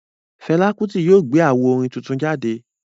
Fẹla Kuti yóò gbé awó orin tuntun jáde